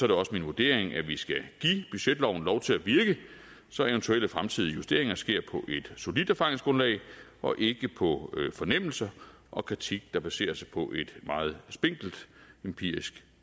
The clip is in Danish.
det også min vurdering at vi skal give budgetloven lov til at virke så eventuelle fremtidige justeringer sker på et solidt erfaringsgrundlag og ikke på fornemmelse og kritik der baserer sig på et meget spinkelt empirisk